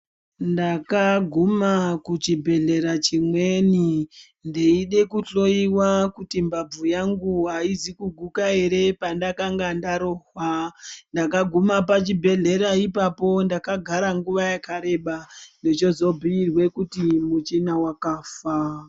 Ndakaguma kuchibhedhlera chimweni ndeida kuhloiwa kuti mbabvu yangu haizi uguka ere pandakanga ndarohwa. Ndakaguma pachibhedhlera ipapo ndakagara nguva yakareba ndochozobhuirwe kuti muchina vakafa.